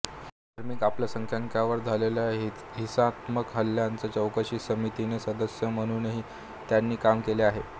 धार्मिक अल्पसंख्याकांवर झालेल्या हिंसात्मक हल्ल्याच्या चौकशी समितीचे सदस्य म्हणूनही त्यांनी काम केले आहे